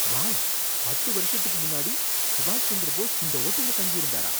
Wow! பத்து வருஷத்துக்கு முன்னாடி சுபாஷ் சந்திர போஸ் இந்த ஹோட்டல்ல தங்கியிருந்தாரா?